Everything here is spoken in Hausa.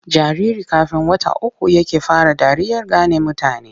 Jariri kafn wata uku yake fara dariyar gane mutane.